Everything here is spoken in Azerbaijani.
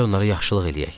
Gəl onlara yaxşılıq eləyək.